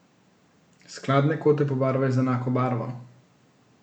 Skladne kote pobarvaj z enako barvo.